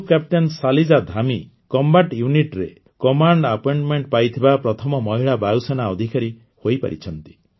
group captain Shaliza Dhami combat Unitରେ command appointment ପାଇଥିବା ପ୍ରଥମ ମହିଳା ବାୟୁସେନା ଅଧିକାରୀ ହୋଇପାରିଛନ୍ତି